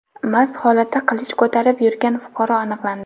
mast holatda qilich ko‘tarib yurgan fuqaro aniqlandi.